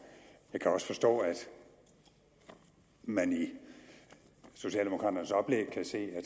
jeg kan også forstå at man i socialdemokraternes oplæg kan se at